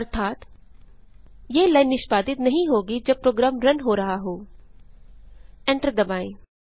अर्थात यह लाइन निष्पादित नहीं होगी जब प्रोग्राम रन हो रहा हो एंटर दबाएँ